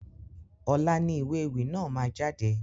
Ọ̀la ni ìwé ewì náà máa jáde.